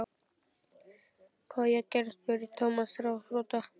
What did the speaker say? Hvað á ég að gera? spurði Thomas ráðþrota.